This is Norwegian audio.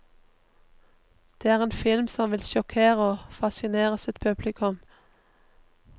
Det er en film som vil sjokkere og fascinere sitt publikum.